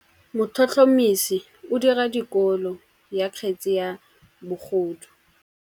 Motlhotlhomisi o dira têkolô ya kgetse ya bogodu.